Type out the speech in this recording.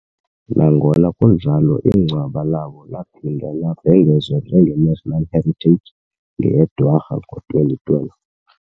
Nangona kunjalo ingcwaba labo laphinda labhengezwa njenge-National Heritage ngeyeDwarha ngo-2012.